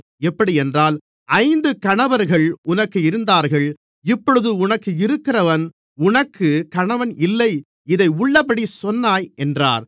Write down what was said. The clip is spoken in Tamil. எப்படியென்றால் ஐந்து கணவர்கள் உனக்கு இருந்தார்கள் இப்பொழுது உனக்கிருக்கிறவன் உனக்கு கணவன் இல்லை இதை உள்ளபடி சொன்னாய் என்றார்